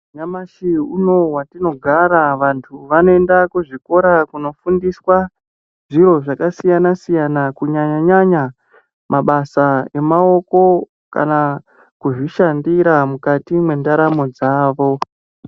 Nyamashi unowu watinogara vantu vanoenda kuzvikora kunofundiswa zviro zvakasiyana-siyana, kunyanya-nyanya mabasa emaoko, kana kuzvishandira mukati mwendaramo dzavo.